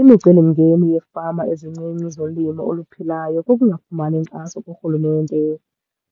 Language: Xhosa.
Imicelimngeni yeefama ezincinci zolimo oluphilayo kukungafumani inkxaso kurhulumente